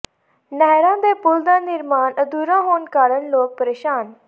ਨਹਿਰਾਂ ਦੇ ਪੁਲ ਦਾ ਨਿਰਮਾਣ ਅਧੂਰਾ ਹੋਣ ਕਾਰਨ ਲੋਕ ਪ੍ਰੇਸ਼ਾਨ